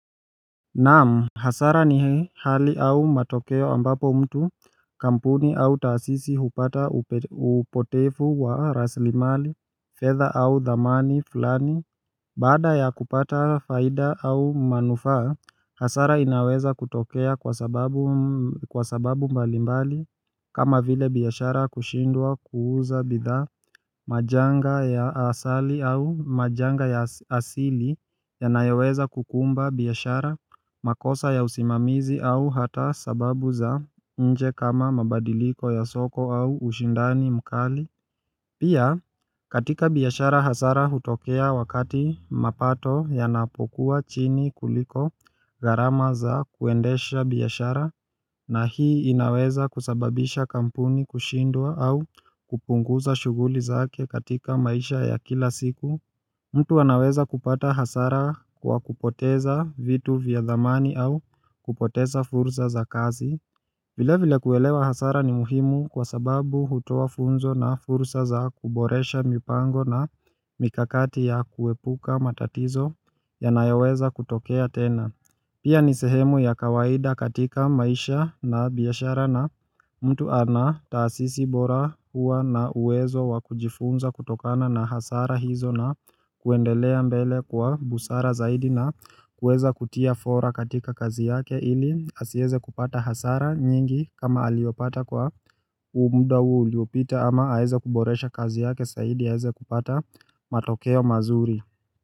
Naam hasara ni hii hali au matokeo ambapo mtu kampuni au tasisi hupata upotefu wa raslimali fedha au dhamani fulani Baada ya kupata faida au manufaa hasara inaweza kutokea kwa sababu mbalimbali kama vile biashara kushindwa kuuza bidhaa majanga ya asali au majanga ya asili ya nayoweza kukumba biashara makosa ya usimamizi au hata sababu za nje kama mabadiliko ya soko au ushindani mkali Pia katika biashara hasara hutokea wakati mapato yanapokuwa chini kuliko garama za kuendesha biashara na hii inaweza kusababisha kampuni kushindwa au kupunguza shuguli zake katika maisha ya kila siku mtu anaweza kupata hasara kwa kupoteza vitu vya dhamani au kupoteza fursa za kazi vile vile kuelewa hasara ni muhimu kwa sababu hutoa funzo na fursa za kuboresha mipango na mikakati ya kuepuka matatizo yanayoweza kutokea tena Pia ni sehemu ya kawaida katika maisha na biashara na mtu ana taasisi bora huwa na uwezo wakujifunza kutokana na hasara hizo na kuendelea mbele kwa busara zaidi na kuweza kutia fora katika kazi yake ili asieze kupata hasara nyingi kama aliopata kwa umuda uliopita ama aheze kuboresha kazi yake saidi aheze kupata matokeo mazuri.